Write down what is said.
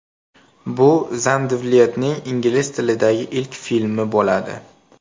Bu Zandvliyetning ingliz tilidagi ilk filmi bo‘ladi.